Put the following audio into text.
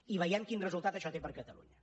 i veiem quin resultat això té per a catalunya